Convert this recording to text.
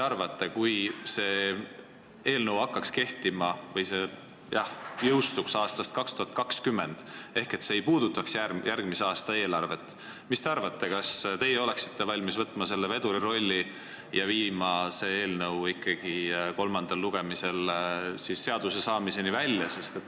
Kui nähtaks ette, et see seadus jõustuks aastal 2020 ehk see ei puudutaks järgmise aasta eelarvet, mis te arvate, kas teie oleksite valmis võtma veduri rolli, et vedada eelnõu kolmandal lugemisel seaduseks saamiseni välja?